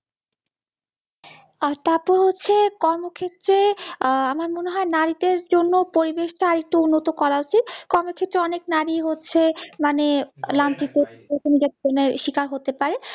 আর তারপর হচ্ছে কর্মক্ষেত্রে আমার মনে হই নাড়ী দরে জন্য পরিবেশ টা আর একটু উন্নত করা উচিৎ কর্মক্ষেত্রে অনেক নাড়ী হচ্ছে মানে লাঞ্ছিত স্বীকার হতে পারে